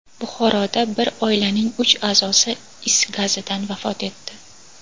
Buxoroda bir oilaning uch a’zosi is gazidan vafot etdi.